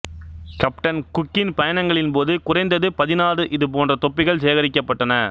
captain குக்கின் பயணங்களின்போது குறைந்தது பதினாறு இதுபோன்ற தொப்பிகள் சேகரிக்கப்பட்டன